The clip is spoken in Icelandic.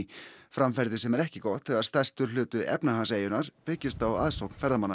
framferði sem er ekki gott þegar stærstur hluti efnahags eyjunnar byggist á aðsókn ferðamanna